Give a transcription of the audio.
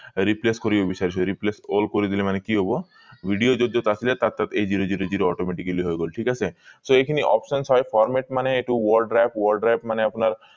replace কৰিব বিচাৰিছো replace hold কৰি দিলে মনে কি হব video যত যত আছিলে তাত তাত এই zero zero zero automatically হৈ গল ঠিক আছে so এই খিনি options হয় format মানে এইটো word drive word drive মানে আপোনাৰ